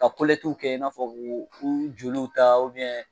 Ka kolɛtiw kɛ i n'a fɔ k'u joliw ta ubiɲɛn